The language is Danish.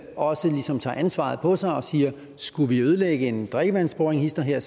også ligesom tager ansvaret på sig og siger skulle vi ødelægge en drikkevandsboring hist og her